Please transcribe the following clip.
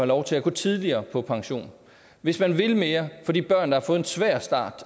lov til at gå tidligere på pension hvis man vil mere for de børn som har fået en svær start